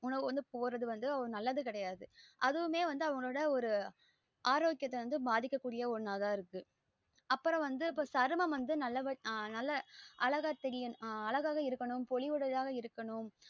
உணவு வந்து போறது வந்து நல்லது கெடையாது அதுவுமே அவங்களோட ஒரு ஆரோக்கியத்த பாதிக்ககூடிய ஒன்னாத இருக்கு அப்புறம் சர்மம் வந்து நல்லவ நல்ல அழகா தெரிய அழகா இருக்கணும் போலிவுடயதாக இருக்கனும்